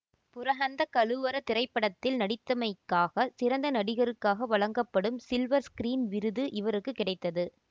புரஹந்த கலுவர திரைப்படத்தில் நடித்தமைக்காக சிறந்த நடிகருக்காக வழங்கப்படும் சில்வர் ஸ்கிரீன் விருது இவருக்கு கிடைத்தது